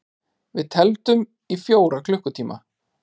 Við tefldum í fjóra klukkutíma!